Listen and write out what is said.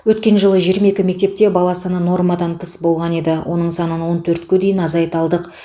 өткен жылы жиырма екі мектепте бала саны нормадан тыс болған еді оның санын он төртке дейін азайта алдық